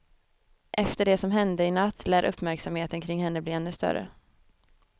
Efter det som hände i natt lär uppmärksamheten kring henne bli ännu större.